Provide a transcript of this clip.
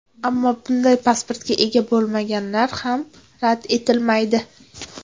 Ammo, bunday pasportga ega bo‘lganlar ham rad etilmaydi.